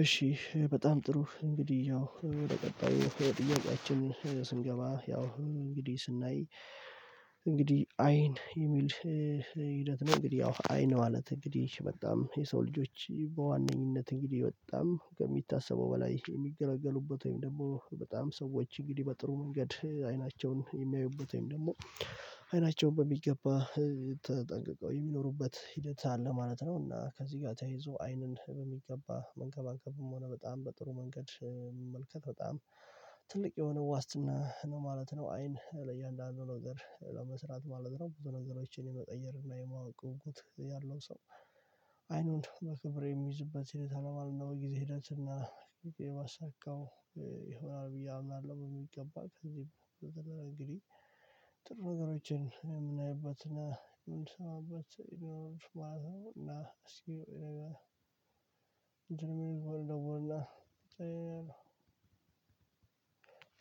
እሺ በጣም ጥሩ እንግዲህ ያው በቀጣዩ ጥያቄያችን ስንገባ ያው እንግዲህ ስናይ እንግዲህ አይን የሚል ሂደት ነው እንግዲህ ያው አይን ማለት እንግዲህ በጣም የሰው ልጆች በዋነኝነት እንግዲህ ወጣም ከሚታሰበው በላይ የሚገለገሉበት ወይም ደግሞ በጣም ሰዎች እንግዲህ በጥሩ መንገድ አይናቸውን የሚያዩበት ወይም ደግሞ አይናቸውን በሚገባ ተጠንቅቀው የሚኖሩበት ሂደት አለ ማለት ነው እና ከዚህ ጋር ተይዞ አይንን በሚገባ መንከባከብም ሆነ በጣም በጥሩ መንገድ መመልከት በጣም ትልቅ የሆነ ዋስትና ነው ማለት ነው አይን ለእያንዳንዱ ነገር ለመስራት ማለት ነው ብዙ ነገሮችን የመጠየቅ እና የማወቅ ጉጉት ያለው ሰው አይኑን መክብር የሚይዝበት ሲል ተለማል ነው ጊዜ ሂደት እና ጊዜ ማሳካው ይሆናል ብዬ አምናለሁ። ይገባል። ከዚህም በተገናኘ እንግዲህ ጥሩ ነገሮችን እኔ የምናይበት የምንሰማበት ሰው የሚኖሩት ማለት ነው። እና እስኪ የሆነ ነገር እንድንል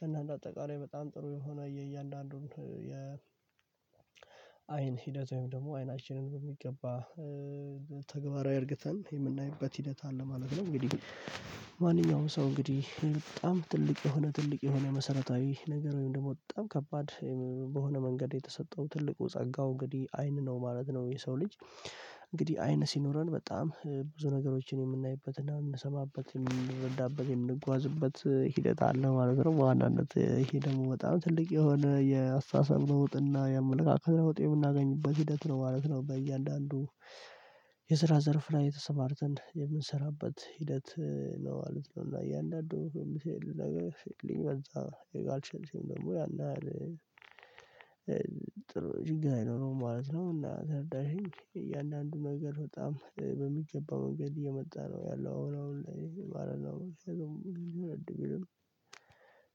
እና አጠቃላይ በጣም ጥሩ የሆነ የእያንዳንዱን የ አይን ሂደት ወይም ደግሞ አይናችንን በሚገባ ተግባራዊ እርግተን የምናይበት ሂደት አለ ማለት ነው። እንግዲህ ማንኛውም ሰው እንግዲህ በጣም ትልቅ የሆነ ትልቅ የሆነ መሰረታዊ ነገር ወይም ደግሞ በጣም ከባድ በሆነ መንገድ የተሰጠው ትልቁ ጸጋው እንግዲህ አይን ነው ማለት ነው። የሰው ልጅ እንግዲህ አይን ሲኖረን በጣም ብዙ ነገሮችን የምናይበትና የምንሰማበት፣ የምንረዳበት፣ የምንጓዝበት ሂደት አለ ማለት ነው። በዋናነት ይሄ ደግሞ በጣም ትልቅ የሆነ የአስተሳሰብ ነው ውጥና የአመለካከት ነው ውጤት የምናገኝበት ሂደት ነው ማለት ነው በእያንዳንዱ የስራ ዘርፍ ላይ ተሰማርተን የምንሰራበት ሂደት ነው ማለት ነው። እና እያንዳንዱ በዛ ደግሞ ያን አለ ጥሩ ችግር አይኖርም ማለት ነው። እና ተረዳሽኝ? እያንዳንዱ ነገር በጣም በሚገባ መንገድ እየመጣ ነው ያለው። አሁን አሁን ላይ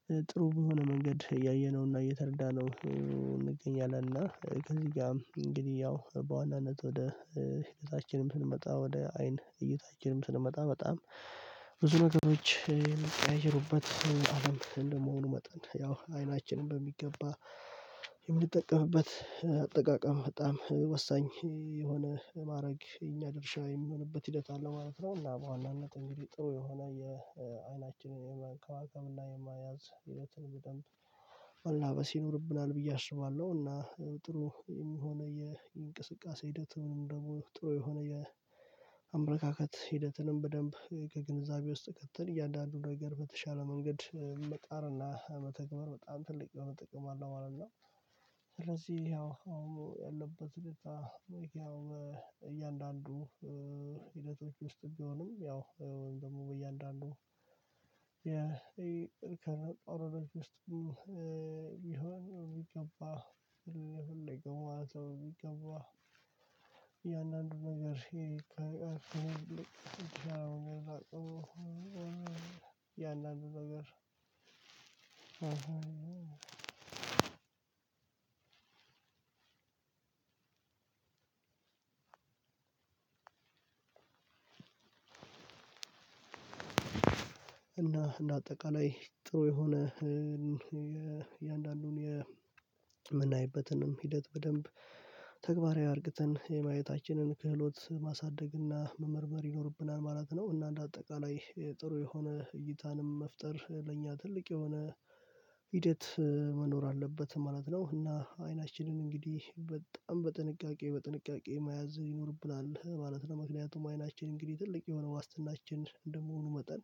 አሁን ጥሩ በሆነ መንገድ እያየነውና እየተረዳነው እንገኛለን። እና ከዚህ ጋርም እንግዲህ ያው በዋናነት ወደ ህይወታችንም ስንመጣ ወደ አይን እይታችንም ስንመጣ በጣም ብዙ ነገሮች አይችሉበት አለም እንደመሆኑ መጠን ያው አይናችንን በሚገባ የምትጠቀምበት አጠቃቀም በጣም ወሳኝ የሆነ ማድረግ የኛ ድርሻ የሚሆንበት ሂደት አለው ማለት ነው። እና በዋናነት እንግዲህ ጥሩ የሆነ የአይናችንን የመንከባከብና የመያዝ ህይወትን በደንብ መላበስ ይኖርብናል ብዬ አስባለሁ። እና ጥሩ የሚሆነው የእንቅስቃሴ ሂደት ምንም ደግሞ ጥሩ የሆነ የአመለካከት ሂደትንም በደንብ ከግንዛቤ ውስጥ ከተል እያንዳንዱን ነገር በተሻለ መንገድ መጣርና መተግበር በጣም ትልቅ የሆነ ጥቅም አለው ማለት ነው። ስለዚህ ያው አሁን ያለበት ሁኔታ ያው እያንዳንዱ ሂደቶች ውስጥ ቢሆንም ያው ደግሞ በየአንዳንዱ የእርከነ ጦር ወደ ውስጥ ይሁን ይገባው ይሁን ይገባው ያን አንድ ነገር ሼር ሄደህ አምላክ ያንን ነገር አሁን አሁን አዎ እና እንደ አጠቃላይ ጥሩ የሆነ የእያንዳንዱን የምናይበትንም ሂደት በደንብ ተግባራዊ አድርገን የማየታችንን ክህሎት ማሳደግና መመርመር ይኖርብናል ማለት ነው። እና እንደ አጠቃላይ ጥሩ የሆነ እይታንም መፍጠር ለእኛ ትልቅ የሆነ ሂደት መኖር አለበት ማለት ነው። እና አይናችንን እንግዲህ በጣም በጥንቃቄ በጥንቃቄ መያዝ ይኖርብናል ማለት ነው። ለምክንያቱም አይናችን እንግዲህ ትልቅ የሆነ ዋስትናችን እንደመሆኑ መጠን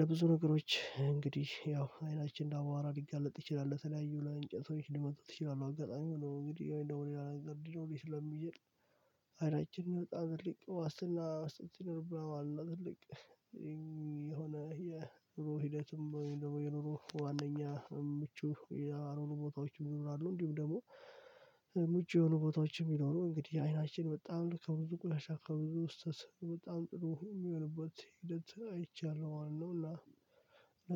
ለብዙ ነገሮች እንግዲህ ያው አይናችንን ለአቧራ ሊጋለጥ ይችላል። ለተለያዩ እንጨቶች ሊመቱት ይችላሉ። አጋጣሚ ሆኖ እንግዲህ እንደውም ነገር ሊኖረው ስለሚይችል አይናችንን በጣም ትልቅ ዋስትና መስጠት ይኖርብናል ማለት ነው። የሆነ የኑሮ ሂደትም ወይም ደግሞ የኑሩ ዋናኛ ምቹ ያልሆኑ ቦታዎችም ይኖራሉ እንዲሁም ደግሞ ምቹ የሆኑ ቦታዎች የሚኖሩ እንግዲህ አይናችን በጣም ከብዙ ቁሻ ከብዙ ስህተት በጣም ጥሩ የሚሆንበት ሂደት አይቻለሁ ማለት ነው። እና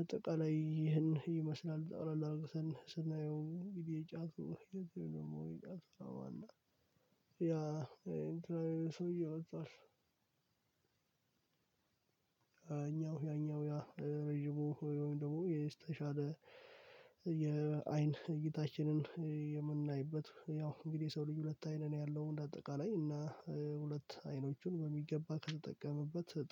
አጠቃላይ ይህን ይመስላል። ጠቅለል አድርግተን ስናየው ስናየው እንግዲህ ጫቱ የዚህ ደግሞ የጫፍ ስራ ያ እንትናዬን ሰውዬ አዛው እኛው ያኛው ያ ረጅሙ ደግሞ የተሻለ የአይን እይታችንን የምናይበት ያው እንግዲህ የሰው ልጅ ሁለት አይነት ነው ያለው። እንደ አጠቃላይ እና ሁለት አይኖቹን በሚገባ ከተጠቀመበት